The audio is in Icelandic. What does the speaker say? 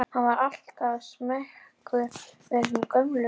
Hann var alltaf smeykur við þessa gömlu konu.